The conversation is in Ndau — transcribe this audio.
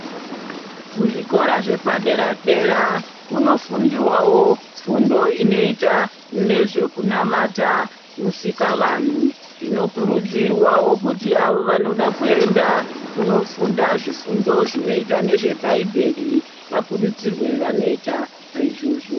Kuzvikora zvepadera dera kunofundiwawo fundo inoita nezve zvekunamata Musikavanhu zvinokurudzirwawo kuti avo vanoda kuenda kunofunda zvifundo zvinoita nezvebhaibheri vakurudzirwe vanoita saizvozvo.